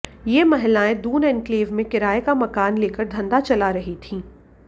ये महिलाएं दून एन्क्लेव में किराये का मकान लेकर धंधा चला रही थीं